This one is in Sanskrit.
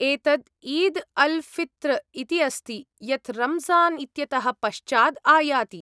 एतत् ईद् अल् फ़ित्र् इति अस्ति, यत् रम्ज़ान् इत्यतः पश्चाद् आयाति।